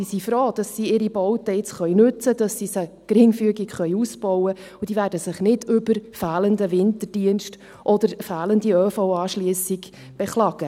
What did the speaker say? Diese sind froh, dass sie ihre Bauten jetzt nutzen können, dass sie sie geringfügig ausbauen können, und sie werden sich nicht über fehlenden Winterdienst oder fehlende ÖV-Anschliessung beklagen.